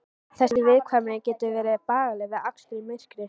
Þessi viðkvæmni getur verið bagaleg við akstur í myrkri.